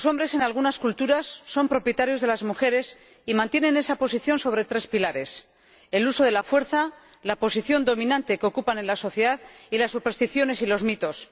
En algunas culturas, los hombres son propietarios de las mujeres y mantienen esa posición sobre tres pilares el uso de la fuerza, la posición dominante que ocupan en la sociedad y las supersticiones y los mitos.